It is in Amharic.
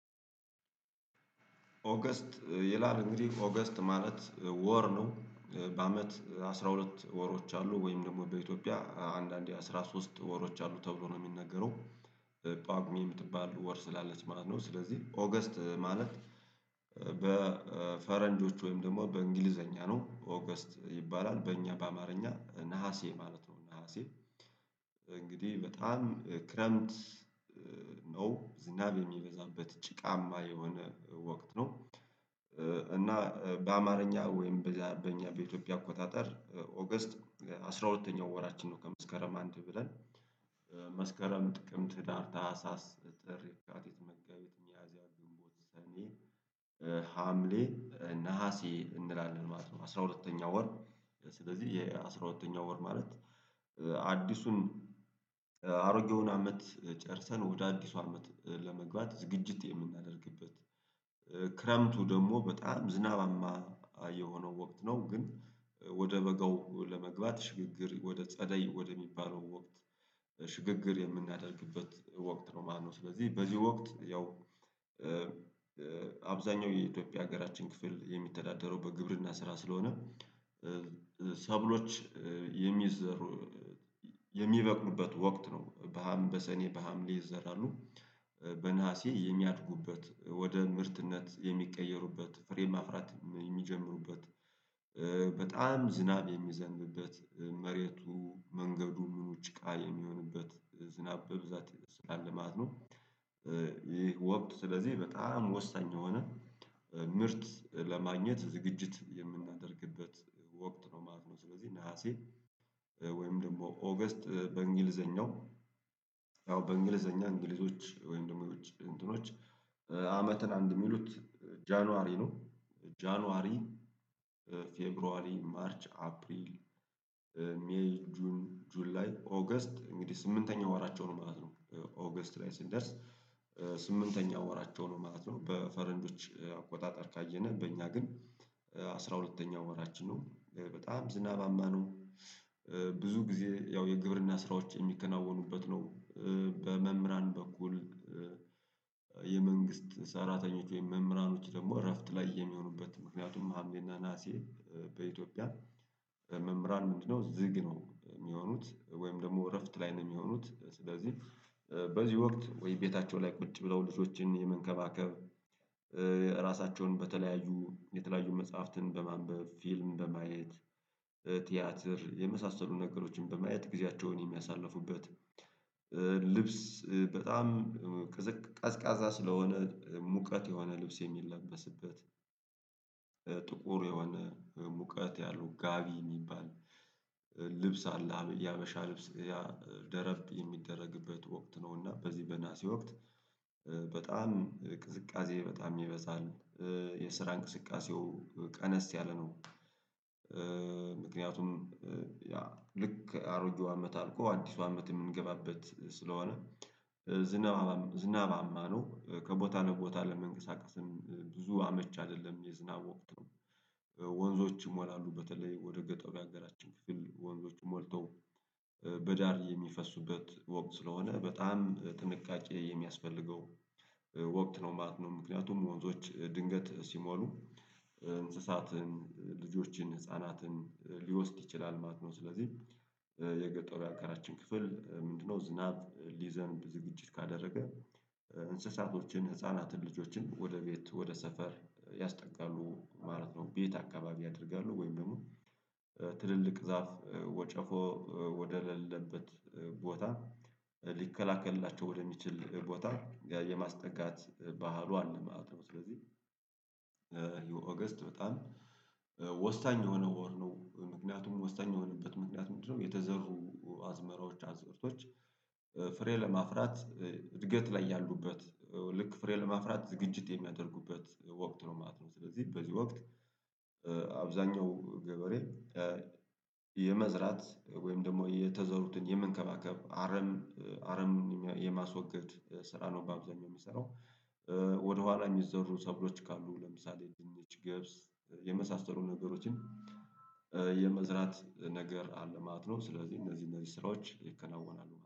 ኦገስት ይላል እንግዲህ ኦገስት ማለት ወር ነው በአመት አስራ ሁለት ወሮች አሉ ወይም ደግሞ በኢትዮጵያ አንዳንዴ አስራ ሶስት ወሮች አሉ ተብሎ ነው የሚነገረው። ጳጉሜ የምትባሉ ወር ስላለች ማለት ነው ስለዚህ ኦገስት ማለት። በፈረንጆቹ ወይም ደግሞ በእንግሊዘኛ ነው ኦገስት ይባላል በእኛ በአማርኛ ነሀሴ ማለት ነው። ነሀሴ እንግዲህ በጣም ክረምት ነው ዝናብ የሚበዛበት ጭቃማ የሆነ ወቅት ነው። እና በአማርኛ ወይም በአረበኛ በኢትዮጵያ አቆጣጠር ኦገስት አስራ ሁለተኛው ወራችን ነው ከመስከረም አንድ ብለን። መስከረም ጥቅም ትዳር ታህሳስ የሚያስተምር ነገር አለ አሁን የሚለውን ነገር አስተምር ነው የሚለውን ነገር አስተምር ነው የሚለውን ነገር እንላለን ማለት ነው። አስራ ሁለተኛው ወር ስለዚህ የአስራ ሁለተኛው ወር ማለት አዲሱን አሮጌውን አመት ጨርሰን ወደ አዲሱ አመት ለመግባት ዝግጅት የምናደርግበት። ክረምቱ ደግሞ በጣም ዝናባማ የሆነው ወቅት ነው። ግን ወደ በጋው ለመግባት ሽግግር ወደ ጸደይ ወደ የሚባለው ወቅት ሽግግር የምናደርግበት ወቅት ነው። ማነው ስለዚህ በዚህ ወቅት ያው አብዛኛው የኢትዮጵያ ሀገራችን ክፍል የሚተዳደረው በግብርና ስራ ስለሆነ። ሰብሎች የሚዘሩ የሚበቅኑበት ወቅት ነው። በሀምሌ በሰኔ በሀምሌ ይዘራሉ በነሀሴ የሚያድጉበት ወደ ምርትነት የሚቀየሩበት ፍሬ ማፍራት የሚጀምሩበት በጣም ዝናብ የሚዘንብበት መሬቱ መንገዱ ሙሉ ጭቃ የሚሆንበት ዝናብ በብዛት ይደስታል ማለት ነው። ይህ ወቅት ስለዚህ በጣም ወሳኝ የሆነ ምርት ለማግኘት ዝግጅት የምናደርግበት ወቅት ነው ማለት ነው። ስለዚህ ነሀሴ ወይም ደግሞ ኦገስት በእንግሊዘኛው ያው በእንግሊዘኛ እንግሊዞች ወይም ደግሞ እንትኖች አመትን አንድ የሚሉት ጃንዋሪ ነው። ጃንዋሪ ፌብሩዋሪ ማርች አፕሪል ሜይ ጁን ጁን ላይ ኦገስት እንግዲህ ስምንተኛው ወራቸው ነው ማለት ነው። ኦገስት ላይ ስንደርስ ስምንተኛው ወራቸው ነው ማለት ነው። በፈረንዶች አቆጣጠር ካየነ በእኛ ግን አስራ ሁለተኛው ወራችን ነው በጣም ዝናባማ ነው። ብዙ ጊዜ ያው የግብርና ስራዎች የሚከናወኑበት ነው። በመምህራን በኩል የመንግስት ሰራተኞች ወይም መምህራኖች ደግሞ እረፍት ላይ የሚሆኑበት ምክንያቱም ሀምሌና ነሀሴ በኢትዮጵያ መምህራን ምንድነው ዝግ ነው የሚሆኑት ወይም ደግሞ እረፍት ላይ ነው የሚሆኑት ስለዚህ። በዚህ ወቅት ወይ ቤታቸው ላይ ቁጭ ብለው ልጆችን የመንከባከብ ራሳቸውን በተለያዩ የተለያዩ መጽሐፍትን በማንበብ ፊልም በማየት ቲያትር የመሳሰሉ ነገሮችን በማየት ጊዜያቸውን የሚያሳልፉበት። ልብስ በጣም ቀዝቃዛ ስለሆነ ሙቀት የሆነ ልብስ የሚለበስበት ጥቁር የሆነ ሙቀት ያለው ጋቢ የሚባል ልብስ አለ። ያበሻ ልብስ ያ ደረፍ የሚደረግበት ወቅት ነው እና በዚህ በነሃሴ ወቅት በጣም ቅዝቃዜ በጣም ይበዛል። የስራ እንቅስቃሴው ቀነስ ያለ ነው። ምክንያቱም ያ ልክ አሮጌው አመት አልፎ አዲሱ አመት የምንገባበት ስለሆነ። ዝናባማ ነው ከቦታ ለቦታ ለመንቀሳቀስም ብዙ አመች አይደለም የዝናብ ወቅት ነው። ወንዞችም ይሞላሉ በተለይ ወደ ገጠሩ ያገራቸው ክፍል ወንዞች ሞልተው በዳር የሚፈሱበት ወቅት ስለሆነ በጣም ጥንቃቄ የሚያስፈልገው ወቅት ነው ማለት ነው። ምክንያቱም ወንዞች ድንገት ሲሞሉ እንስሳትን ልጆችን ህፃናትን ሊወስድ ይችላል ማለት ነው። ስለዚህ የገጠሩ ያገራችን ክፍል ምንድነው ዝናብ ሊዘንብ ዝግጅት ካደረገ እንስሳቶችን ህፃናትን ልጆችን ወደ ቤት ወደ ሰፈር ያስጠጋሉ ማለት ነው። ቤት አካባቢ ያደርጋሉ ወይም ደግሞ ትልልቅ ዛፍ ወጨፎ ወደሌለበት ቦታ ሊከላከልላቸው ወደሚችል ቦታ የማስጠጋት ባህሉ አለማወተው ስለዚህ። የኦገስት በጣም ወሳኝ የሆነ ወር ነው ምክንያቱም ወሳኝ የሆነበት ምክንያት ምንድነው? የተዘሩ አዝመራዎች አዝርቶች ፍሬ ለማፍራት እድገት ላይ ያሉበት ልክ ፍሬ ለማፍራት ዝግጅት የሚያደርጉበት ወቅት ነው ማለት ነው። ስለዚህ በዚህ ወቅት አብዛኛው ገበሬ የመዝራት ወይም ደግሞ የተዘሩትን የመንከባከብ አረም አረም የማስወገድ ስራ ነው በአብዛኛው የሚሰራው። ወደኋላ የሚዘሩ ሰብሎች ካሉ ለምሳሌ የግብጽ ገብስ የመሳሰሉ ነገሮችን የመዝራት ነገር አለ ማለት ነው። ስለዚህ እነዚህ እነዚህ ስራዎች ይከናወናሉ